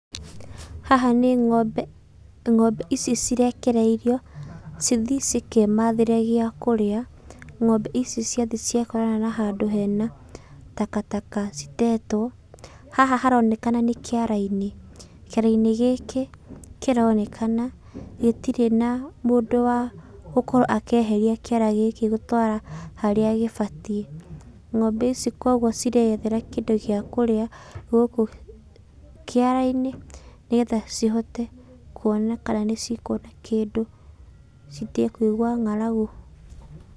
Haha nĩ ng'ombe. Ng'ombe ici cirekereirio cithiĩ cikemathĩre gĩa kũrĩa. Ng'ombe ici ciathiĩ ciakorana na handũ hena takataka citetũo, haha haronekana nĩ kĩara-inĩ. Kĩara-inĩ gĩkĩ kĩronekana gĩtirĩ na mũndũ wa gũkorwo akĩeheria kĩara gĩkĩ gũtwara harĩa gĩbatiĩ. Ngombe ici kuoguo cireyethere kĩndũ gĩa kũrĩa gũkũ kĩara-inĩ, nĩgetha cihote kuona kana nĩcikuona kĩndũ citige kũigua ng'aragu.